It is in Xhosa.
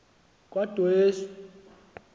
kwadwesi